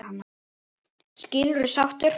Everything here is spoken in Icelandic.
Skilurðu sáttur?